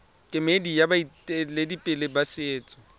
kemedi ya baeteledipele ba setso